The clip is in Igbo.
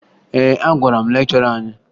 Ee, agwara m lekchọra anyị